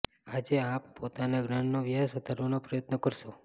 આજે આપ પોતાના જ્ઞાનનો વ્યાષ વધારવાનો પ્રયત્ન કરશો